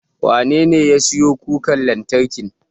Wanene ya siyo kukar lantarkin?